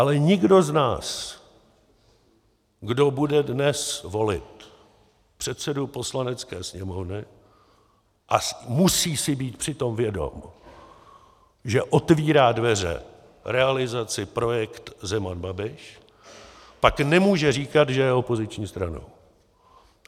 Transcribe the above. Ale nikdo z nás, kdo bude dnes volit předsedu Poslanecké sněmovny, a musí si být při tom vědom, že otvírá dveře realizaci projekt Zeman-Babiš, pak nemůže říkat, že je opoziční stranou.